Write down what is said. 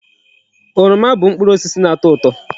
Oroma bu mkpụrụ osisi na-ato uto.